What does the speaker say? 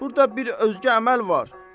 Burda bir özgə əməl var.